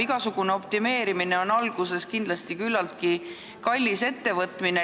Igasugune optimeerimine on alguses kindlasti küllaltki kallis ettevõtmine.